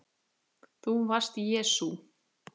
ÞÚ VARST JESÚ